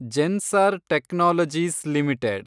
Zensar technologies limited